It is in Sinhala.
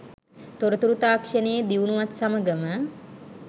තොරතුරු තාක්ෂණයේ දියුණුවත් සමඟම